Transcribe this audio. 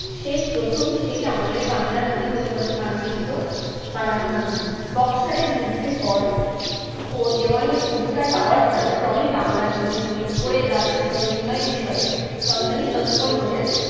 সেই প্রথম সেই আমলে বাংলার নদী গতিপথের মানচিত্র বানানো হলো। বক্সারের যুদ্ধের পর ও দেওয়ানির অধিকার পাওয়ার ফলে ক্রমেই বাংলার জমি জরিপ করে রাজস্ব নির্ণয়ের বিষয়ে company তৎপর হয়ে